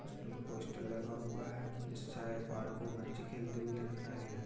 इस पे एक पोस्टर लगा हुआ है इस साइड पार्क में बच्चे खेलते हुए दिख रहे हैं।